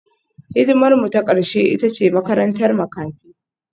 Hidimarmu ta ƙarshe ita ce makarantar makafi